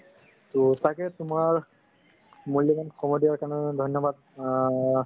ত তাকেই তুমাৰ মুল্যবান সময় দিয়াৰ বাবে ধন্যবাদ আ